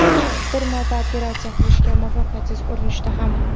Bir marta operatsiya qilishga muvaffaqiyatsiz urinishdi ham.